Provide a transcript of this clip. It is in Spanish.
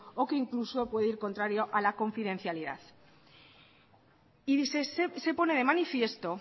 o que incluso puede ir contrario a la confidencialidad y se pone de manifiesto